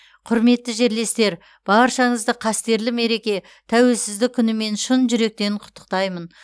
құрметті жерлестер баршаңызды қастерлі мереке тәуелсіздік күнімен шын жүректен құттықтаймын